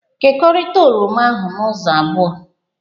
Kekọrita oroma ahụ ụzọ abụọ!